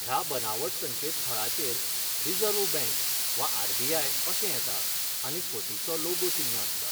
ह्या बनावट संकेत थळाचेर रिझर्व्ह बँक वा आरबीआय अशें येता आनी फटीचो लोगो चिन्न आसता.